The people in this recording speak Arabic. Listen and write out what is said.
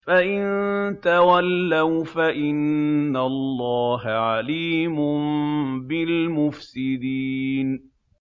فَإِن تَوَلَّوْا فَإِنَّ اللَّهَ عَلِيمٌ بِالْمُفْسِدِينَ